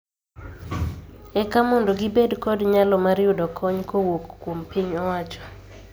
Eka mondo gibed kod nyalo mar yudo kony kowuok kuom piny owacho